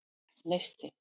Neisti